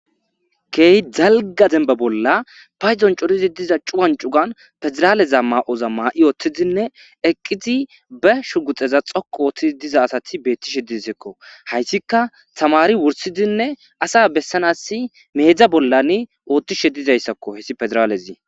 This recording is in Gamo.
key dalga zemba bolla payzon corizi diza cuwan cugan pezeraaleza ma7oza ma7i ooththidinne eqqizi be shu guxeza xoku ooththizi diza asati beettishe disekko hayssika tamari wursidinne asa bessanasi meedza bollan oothtishe dizayssakko hessi pezraalezii